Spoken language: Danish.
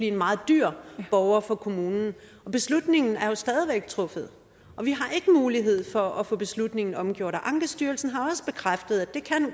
en meget dyr borger for kommunen og beslutningen er jo stadig væk truffet og vi har ikke mulighed for at få beslutningen omgjort og ankestyrelsen har også bekræftet